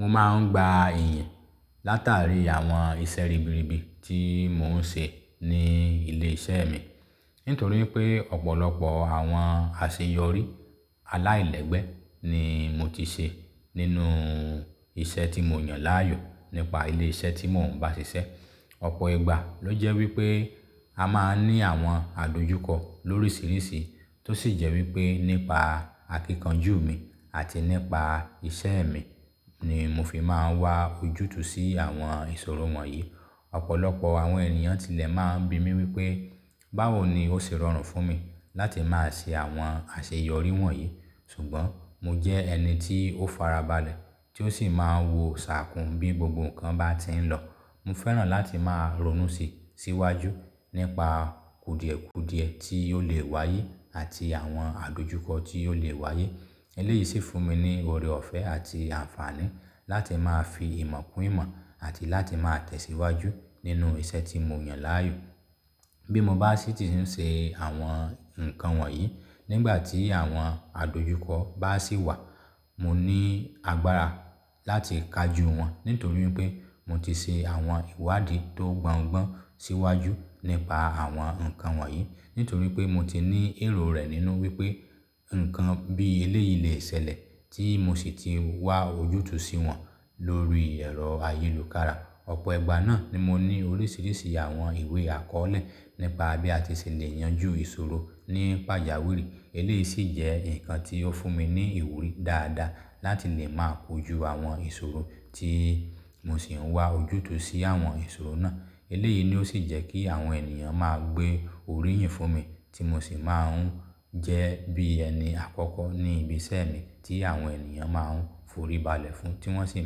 Mo máa ń gba ìyìn látàrí àwọn iṣẹ́ ribiribi tí mò ń ṣe ní ilé iṣẹ́ mi. Nítorí pé ọ̀pọ̀lọpọ̀ àwọn àṣeyọrí aláìlẹ́gbẹ́ ni mo ti ṣe nínú iṣẹ́ tí mo yàn láàyò nípa ilé iṣẹ́ tí mò ń bá ṣiṣẹ́. Ọ̀pọ̀ ìgbà ló jẹ́ wípé a máa ń ní àwọn àdojúkọ lórísìírísìí tó sì jẹ́ wípé nípa akíkanjú mi àti nípa iṣẹ́ mi ni mo fi máa ń wá ojútùú sí àwọn ìṣòro wọ̀nyí. Ọ̀pọ̀lọpọ̀ àwọn ènìyàn tilẹ̀ máa ń bi mí wípé báwo ni ó ṣe rọrùn fún mi láti máa ṣe àwọn àṣeyọrí wọ̀nyí. Ṣùgbọ́n mo jẹ́ ẹni tí ó farabalẹ̀ tí ó sì máa ń wo ṣàkún bí gbogbo nǹkan bá ti ń lọ. Mo fẹ́ràn láti máa ronú síi, síwájú nípa kùdìẹ̀kùdìẹ tí ó lè wáyé àti àwọn àdojúkọ tí ó lè wáyé. Eléyìí sì fún mi ní oore ọ̀fẹ́ àti àǹfààní láti máa fi ìmọ̀ kún ìmọ̀ àti láti máa tẹ̀síwájú nínú iṣẹ́ tí mo yàn láàyò. Bí mo bá sì ti ń ṣe àwọn ǹkan wọ̀nyí, nígbàtí àwọn àdojúkọ bá sì wà, mo ní agbára láti kaju wọn nítorí pé mo ti ṣe àwọn ìwádìí tó gbọ́ngbọ́n síwájú nípa àwọn nǹkan wọ̀nyí. Nítorí pé mo ti ní èrò rẹ̀ nínú wípé nǹkan bí eléyìí lè ṣẹ̀lẹ̀ tí mo sì ti wá ojútùú sí wọn lórí ẹ̀rọ ayélùkára. Ọ̀pọ̀ ìgbà náà ni mo ní oríṣiríṣi àwọn ìwé àkọọ́lẹ̀ nípa bí a ti ṣe lè yanjú ìṣòro ní pàjáwìrì. Eléyìí sì jẹ́ nǹkan tí ó fún mi ní ìwúrí dáadáa láti lè máa kojú àwọn ìṣòro tí mo sì ń wá ojútùú sí àwọn ìṣòro náà. Eléyìí ni ó sì jẹ́ kí àwọn ènìyàn máa gbé oríyìn fún mi tí mo sì máa ń jẹ́ bí ẹni àkọ́kọ́ ní ibi iṣẹ́ mi tí àwọn ènìyàn máa ń foríbalẹ̀ fún tí wọ́n sì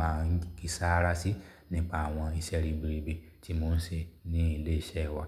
máa ń kí sáárá sí nípa àwọn iṣẹ́ ribiribi tí mò ń ṣe ní ilé iṣẹ́ wa.